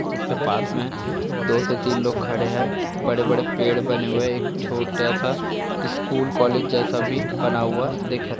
जिसके पास में दो से तीन लोग खड़े हैं बड़े-बड़े पेड़ बने हुए हैं एक छोटा सा स्कूल कॉलेज जैसा बना हुआ भी दिख रहा --